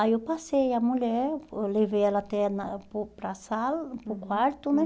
Aí eu passei a mulher, oh eu levei ela até na para o para sala, para o quarto, né?